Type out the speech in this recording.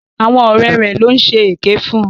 Àwọn ọ̀rẹ́ rẹ̀ ló ń ṣe èké fún.